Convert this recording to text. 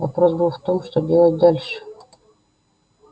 вопрос был в том что делать дальше